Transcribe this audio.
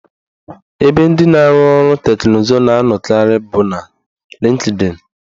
Ebe ndị na-arụ ọrụ teknụzụ na anọkarị bụ na Lịnkdịn